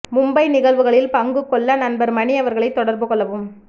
மும்பை நிகழ்வுகளில் பங்கு கொள்ள நண்பர் மணி அவர்களைத் தொடர்பு கொள்ளவும்